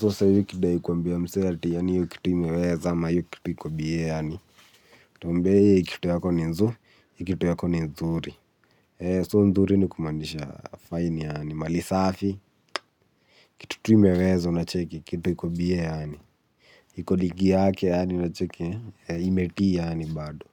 So sahi, ukidai kuambia msee ati yani, hiyo kitu imeweza, hiyo kitu iko biye yani. Tuombe, hi kitu yako ni nzuri, hi kitu yako ni nzuri. So, nzuri ni kumanisha, fine yani, malisafi. Kitu imeweza, unacheki, kitu iko biye yani. Iko ligi yake yani unacheki imetii yani bado.